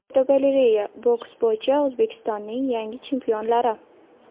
Fotogalereya: Boks bo‘yicha O‘zbekistonning yangi chempionlari.